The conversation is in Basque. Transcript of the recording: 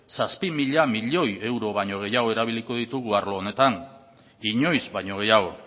zazpi mila milioi euro baino gehiago erabiliko ditugu arlo honetan inoiz baino gehiago